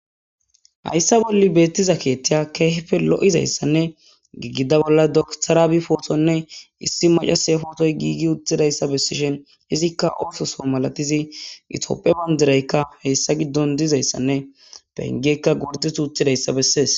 Hayssa bolli beettiza keeththeya girigida bolla dokiter Abiy pootonne issi maacasiya pootoy giigi uttidayssa bessishin izikka oososo malatiza itophphiya bandiraykka hessa giddon dizayssanne pengeykka gorddeti uttidayssa besses.